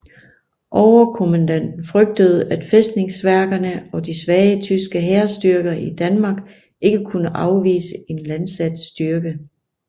Overkommanden frygtede at fæstningsværkerne og de svage tyske hærstyrker i Danmark ikke kunne afvise en landsat styrke